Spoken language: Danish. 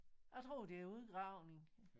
Jeg tror det er udgravning